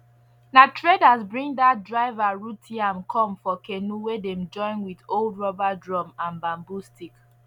na traders bring dat river root yam come for canoe wey dem join with old rubber drum and bamboo stick